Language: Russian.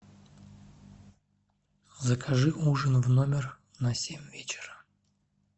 закажи ужин в номер на семь вечера